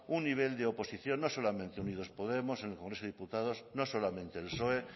un nivel de oposición no solamente unidos podemos en el congreso de los diputados no solamente el psoe